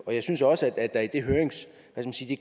jeg synes også at der i det